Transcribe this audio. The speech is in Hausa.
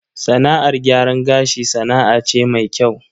Sana'ar gyaran gashi sana'a ce mai kyau.